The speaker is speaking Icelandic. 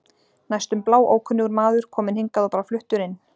Næstum bláókunnugur maður, kominn hingað og bara fluttur inn.